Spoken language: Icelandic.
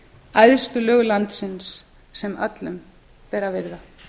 æðstu lög landsins sem öllum ber að virða